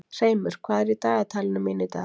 Hreimur, hvað er í dagatalinu mínu í dag?